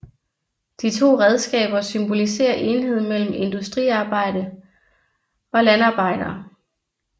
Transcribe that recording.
De to redskaber symboliserer enhed mellem industriarbejdere og landarbejdere